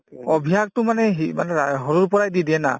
অভ্যাসতো মানে মানে সৰুৰ পৰাই দি দিয়ে না